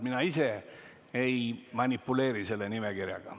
Mina ise ei manipuleeri selle nimekirjaga.